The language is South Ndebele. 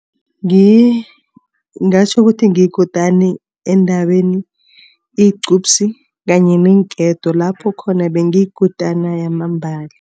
Ngingatjho ukuthi ngiyikutani endabeni igqubsi kanye neenketo. Lapho khona bengiyikutana yamambala.